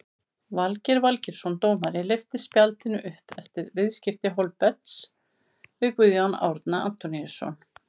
Valgeir Valgeirsson dómari lyfti spjaldinu upp eftir viðskipti Hólmberts við Guðjón Árna Antoníusson.